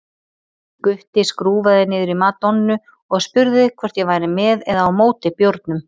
Gutti skrúfaði niður í Madonnu og spurði hvort ég væri með eða á móti bjórnum.